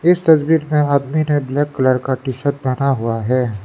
इस तस्वीर में आदमी ने ब्लैक कलर का टी शर्ट पहना हुआ है।